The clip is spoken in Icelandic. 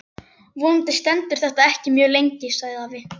Vonandi stendur þetta ekki mjög lengi sagði afi.